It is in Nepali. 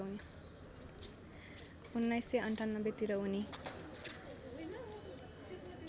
१९९८ तिर उनी